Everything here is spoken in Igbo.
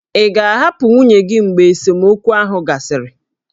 Ị ga-ahapụ nwunye gị mgbe esemokwu ahụ gasịrị?